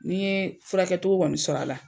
Ni n ye furakɛ cogo kɔni sɔrɔ a la